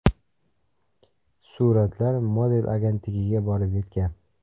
Suratlar model agentligiga borib yetgan.